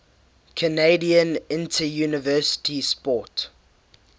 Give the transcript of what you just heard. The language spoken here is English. canadian interuniversity sport